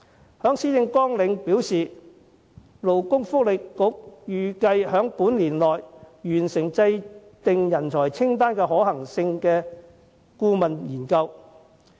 特首在施政綱領表示，勞工及福利局預計將於年內完成制訂人才清單可行性的顧問研究。